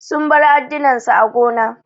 Sun bar addunan su a gona.